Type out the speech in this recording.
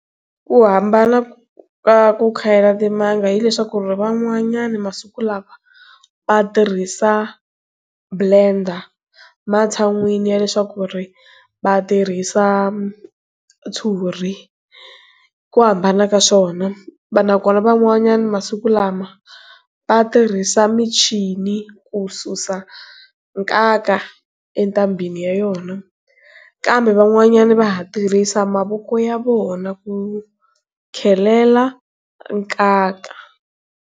Ku hambana ka ku khayela timanga hileswaku ri van'wanyana masiku lawa va tirhisa blender ematshan'wini ya leswaku ri vatirhisa ntshuri ku hambana ka swona va nakona van'wanyana masiku lama va tirhisa michini ku susa nkaka etambheni ya yona kambe van'wanyana va ha tirhisa mavoko ya vona ku khelela nkaka.